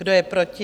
Kdo je proti?